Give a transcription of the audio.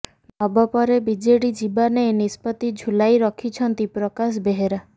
ନବ ପରେ ବିଜେଡି ଯିବା ନେଇ ନିଷ୍ପତି ଝୁଲାଇ ରଖିଛନ୍ତି ପ୍ରକାଶ ବେହେରା